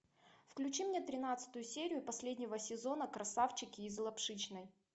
включи мне тринадцатую серию последнего сезона красавчики из лапшичной